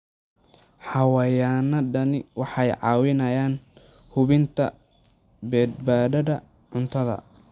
Xayawaanadani waxay caawiyaan hubinta badbaadada cuntada.